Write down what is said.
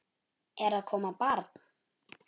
Er að koma barn?